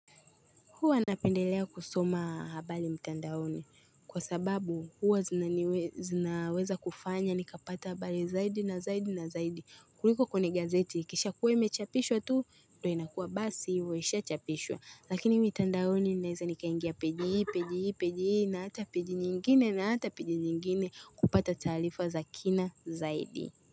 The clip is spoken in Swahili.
Huwa napendelea kusoma habali mtandaoni kwa sababu huwa zinaweza kufanya nikapata habali zaidi na zaidi na zaidi. Kuriko kwene gazeti kisha kuwe imechapishwa tu ndo inakuwa basi hivo ishachapishwa. Lakini mtandaoni ninaeza nikaingia page hii page hii page hii na hata page nyingine na hata page nyingine kupata taalifa za kina zaidi.